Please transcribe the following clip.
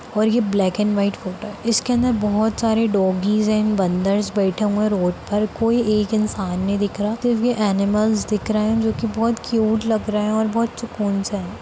और ये black and white photo है इसके अंदर बहुत सारे डॉगीज है बंदर्स बैठे हुए रोड पर कोई एक इंसान नहीं दिख रहा तो ये एनिमल्स दिख रहे है जो कि बहुत क्यूट लग रहे है और बहुत सुकून सा है।